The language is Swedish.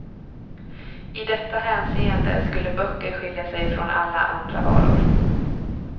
I detta hänseende skulle böcker skilja sig från alla andra varor.